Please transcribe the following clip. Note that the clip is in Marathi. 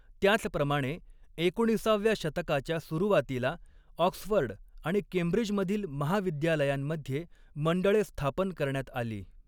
त्याचप्रमाणे, एकोणिसाव्या शतकाच्या सुरुवातीला ऑक्सफर्ड आणि केंब्रिजमधील महाविद्यालयांमध्ये मंडळे स्थापन करण्यात आली.